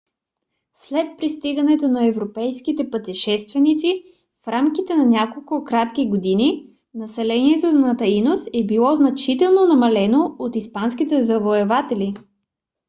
след пристигането на европейските пътешественици в рамките на няколко кратки години населението на таинос е било значително намалено от испанските завоеватели